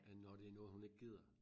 Øh når det noget hun ikke gider